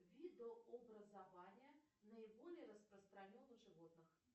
видообразования наиболее распространен у животных